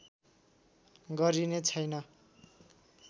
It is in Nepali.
गरिने छैन